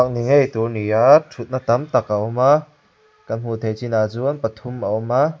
a ni ngei tur a ni aa thutna tam tak a awm a kan hmuh theih chin ah chuan pathum a awm a.